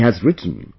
He has written